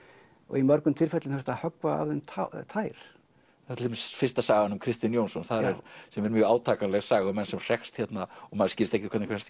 í mörgum tilfellum þurfti að höggva af þeim tær það er til dæmis fyrsta sagan um Kristin Jónsson sem er mjög átakanleg saga um mann sem hrekst og maður skilur ekki hvernig kemst